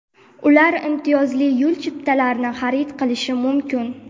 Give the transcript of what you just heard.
Ular imtiyozli yo‘l chiptalarini xarid qilishi mumkin.